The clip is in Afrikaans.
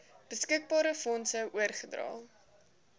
beskikbare fondse oorgedra